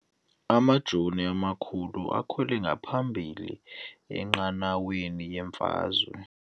Amajoni amakhulu akhwele ngaphambili enqanaweni yemfazwe.